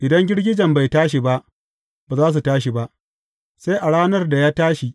Idan girgijen bai tashi ba, ba za su tashi ba, sai a ranar da ya tashi.